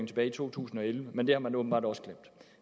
tilbage i to tusind og elleve men det har man åbenbart også glemt